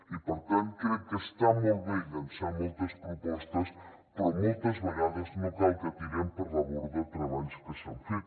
i per tant crec que està molt bé llençar moltes propostes però moltes vegades no cal que tirem per la borda treballs que s’han fet